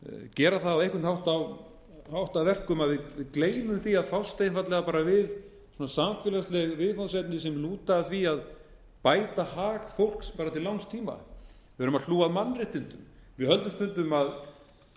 gera það á einhvern hátt að verkum að við gleymum að fást einfaldlega við samfélagsleg viðfangsefni sem lúta að því að bæta hag fólks til langs tíma við erum að hlúa að mannréttindum við höldum kannski